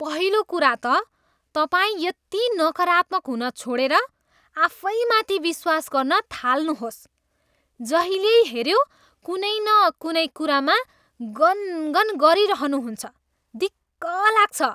पहिलो कुरा त तपाईँ यति नकारात्मक हुन छोडेर आफैमाथि विश्वास गर्न थाल्नुहोस्। जहिल्यै हेऱ्यो, कुनै न कुनै कुरामा गनगन गरिरहनुहुन्छ। दिक्क लाग्छ!